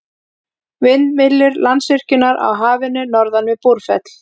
Vindmyllur Landsvirkjunar á Hafinu norðan við Búrfell.